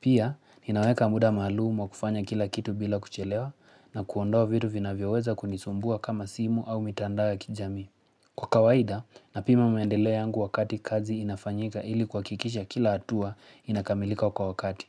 Pia, ninaweka muda maalumu wa kufanya kila kitu bila kuchelewa na kuondoa vitu vinavyoweza kunisumbua kama simu au mitandao ya kijamii. Kwa kawaida, napima maendeleo yangu wakati kazi inafanyika ili kuhakikisha kila hatua inakamilika kwa wakati.